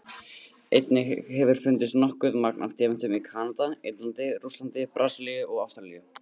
Einnig hefur fundist nokkuð magn af demöntum í Kanada, Indlandi, Rússlandi, Brasilíu og Ástralíu.